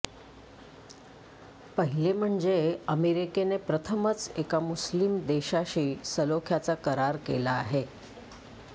पहिले म्हणजे अमेरिकेने प्रथमच एका मुस्लीम देशाशी सलोख्याचा करार केला आहे